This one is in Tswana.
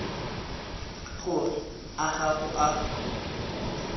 gore a ga go a